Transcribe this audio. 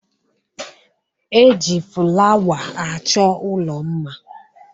E ji fụlawa achọ ụlọ mma.